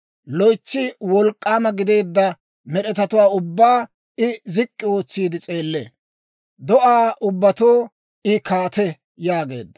Loytsi wolk'k'aama gideedda med'etatuwaa ubbaa I zik'k'i ootsiide s'eellee; do'aa ubbatoo I kaate» yaageedda.